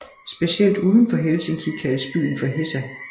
Specielt uden for Helsinki kaldes byen for Hesa